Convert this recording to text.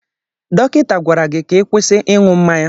Dọkịta gwara gị ka ị kwụsị ịṅụ mmanya!